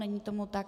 Není tomu tak.